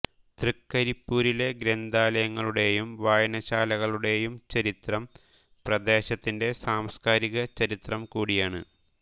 തൃക്കരിപ്പൂരിലെ ഗ്രന്ഥാലയങ്ങളുടെയും വായനശാലകളുടെയും ചരിത്രം പ്രദേശത്തിന്റെ സാംസ്കാരിക ചരിത്രം കൂടിയാണ്